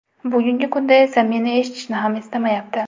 Bugungi kunda esa meni eshitishni ham istamayapti.